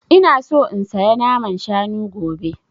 Ina so in saya naman shanu gobe